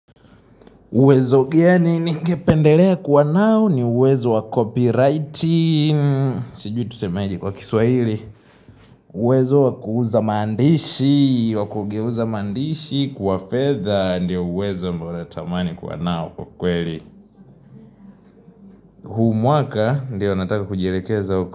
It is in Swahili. Uwezo gani ningependelea kuwa nao? Ni uwezo wa copywriting Sijui tusemeje kwa kiswaili uwezo wa kuuza mandishi, wa kugeuza mandishi kuwa fedha Ndiyo uwezo ambao natamani kuwa nao kwa kweli huu mwaka ndiyo nataka kujilekeza uka.